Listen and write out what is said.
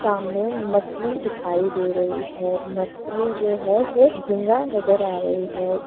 सामने मछली दिखाई दे रही है मछली जो है वो झींगा नज़र आ रही है।